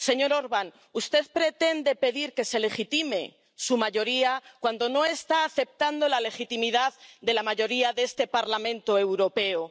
Señor Orbán, usted pretende pedir que se legitime su mayoría cuando no está aceptando la legitimidad de la mayoría de este Parlamento Europeo.